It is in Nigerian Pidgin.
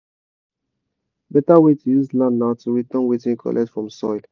beta way to use land na to return wetin you collect from soil.